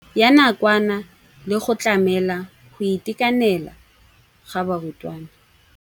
ya nakwana le go tlamela go itekanela ga barutwana.